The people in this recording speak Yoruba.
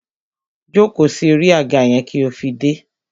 Jóko sí orí àga yẹn kí ó fi dé!